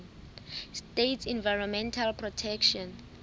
states environmental protection